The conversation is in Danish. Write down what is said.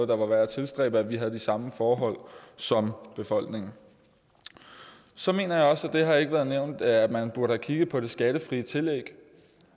være værd at tilstræbe at vi har de samme forhold som befolkningen så mener jeg også det har ikke været nævnt at man burde have kigget på det skattefri tillæg